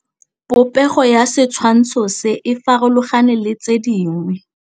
Popêgo ya setshwantshô se, e farologane le tse dingwe.